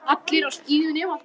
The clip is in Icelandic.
Allir á skíðum nema þú.